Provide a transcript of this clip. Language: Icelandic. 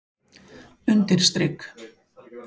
undirstrik